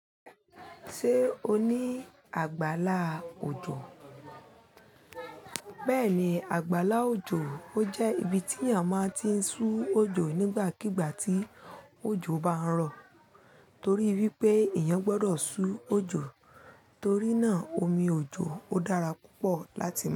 Ṣé o ní àgbàlá òjò? Bẹ́ẹ̀ni, àgbàlá òjò ó jẹ́ ibi tí èèyàn máa ti ń sú òjò nígbàkigbà tí òjò bá ń rọ̀ torí wípé èèyàn gbọ́dọ̀ sú òjò torí náà omi òjò ó dára púpọ̀ láti máa.